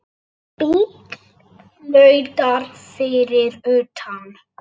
Bíll flautar fyrir utan.